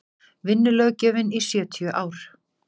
vinnulöggjöfin í sjötíu ár